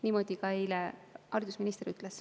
Niimoodi eile ka haridusminister ütles.